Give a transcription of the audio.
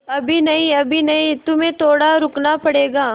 अभी नहीं अभी नहीं तुम्हें थोड़ा रुकना पड़ेगा